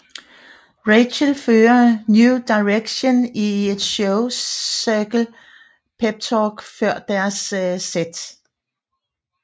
Rachel fører New Directions i et show cirkel peptalk før deres sæt